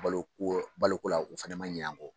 Baloko baloko la u fana man ɲina an kɔ.